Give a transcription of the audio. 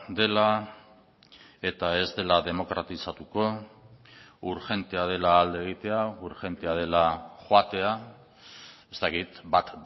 dela eta ez dela demokratizatuko urgentea dela alde egitea urgentea dela joatea ez dakit bat